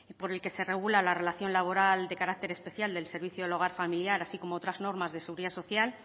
por el que se regula la relación laboral de carácter especial del servicio del hogar familiar así como otras normas de seguridad social